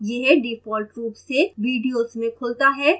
यह default रूप से videos में खुलता है